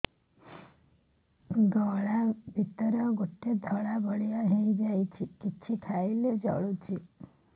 ଗଳା ଭିତରେ ଗୋଟେ ଧଳା ଭଳିଆ ହେଇ ଯାଇଛି କିଛି ଖାଇଲାରୁ ଜଳୁଛି